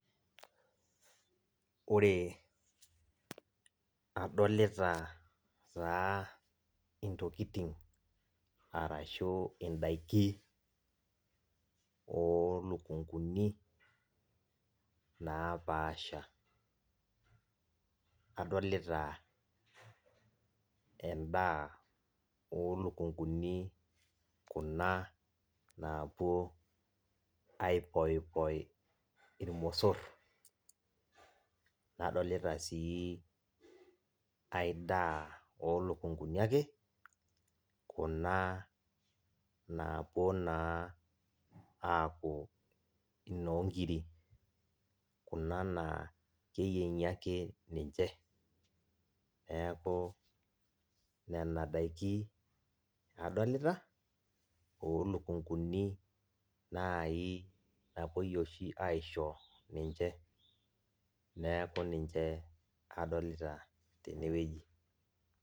Ore adolita taa intokitin atashu indakin olukunguni nappasha adolita endaa olukunguni kuna napuo aipoipoi irmosor nadolta si aidaa olukunguni ake kuna napuo ta apuo inonkirik, kuna na keyiengi naake ninche meaku nena dakin adolita olukunguni oshi napuoi aisho ninche, neaku ninche adolita tenewueji.